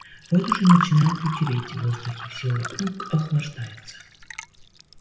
вот уже начинает вечереть в воздух всё вокруг охлаждается